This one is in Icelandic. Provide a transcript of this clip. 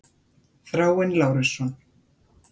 Þráinn Lárusson.